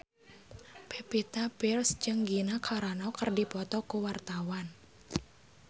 Pevita Pearce jeung Gina Carano keur dipoto ku wartawan